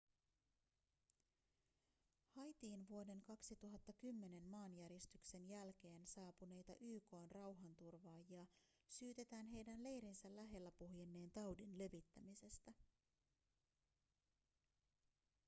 haitiin vuoden 2010 maanjäristyksen jälkeen saapuneita yk:n rauhanturvaajia syytetään heidän leirinsä lähellä puhjenneen taudin levittämisestä